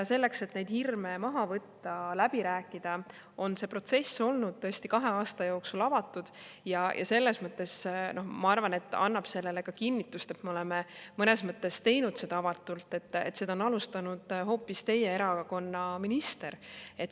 Selleks, et neid hirme maha võtta, läbi rääkida, on see protsess olnud tõesti kahe aasta jooksul avatud ja ma arvan, et annab kinnitust ka sellele, et me oleme teinud seda selles mõttes avatult, et seda on alustanud hoopis teie erakonna minister.